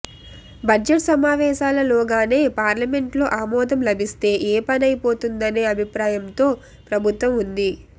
budget సమావేశాల లోగానే parliament లో ఆమోదం లభిస్తే ఏ పనయిపోతుందనే అభిప్రాయంతో ప్రభుత్వం ఉంది